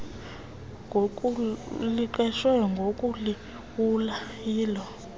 liqeshwe ngokulawula yilo